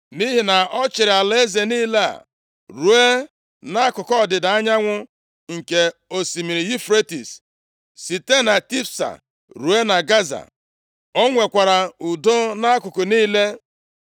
Nʼihi na ọ chịrị alaeze niile a ruo nʼakụkụ ọdịda anyanwụ nke osimiri Yufretis, site na Tifsa ruo na Gaza. + 4:24 Tifsa ruo na Gaza, bụ obodo dị nʼọwụwa anyanwụ nke ugwu. Ọ bụ oke alaeze Solomọn nʼugwu, bụrụkwa obodo dị mkpa nke dị nʼakụkụ osimiri Yufretis. Gaza na Filistia bụ obodo ndị dị nso nʼosimiri Mediterenịan. Ha bụ oke ala nʼọwụwa anyanwụ nke ndịda alaeze ahụ. O nwekwara udo nʼakụkụ niile.